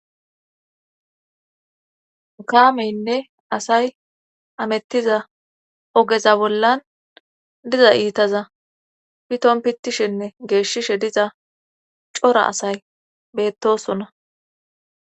kaameynne asay amettiza ogeza bollan diza iitaza piton pitishenne geeshshishe diza cora asay beettosona